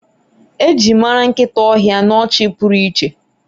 eji mara nkita ohia n'ọchị pụrụ iche